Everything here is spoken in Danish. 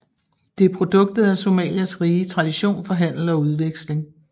Det er produktet af Somalias rige tradition for handel og udveksling